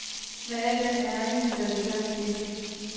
Med al den erindring, der ligger i det.